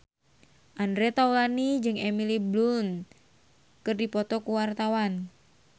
Andre Taulany jeung Emily Blunt keur dipoto ku wartawan